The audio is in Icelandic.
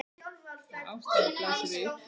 Og ástæðan blasir við.